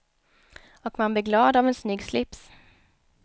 Och man blir glad av en snygg slips.